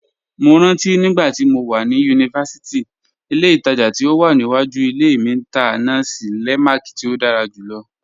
Mó rántí nígbàtí mó wà ni yunífásítì, ìlẹ̀ ìtaja tí ó wà níwàjú ìlẹ̀ mi tá nasi lemak tí ó dára júlọ̀.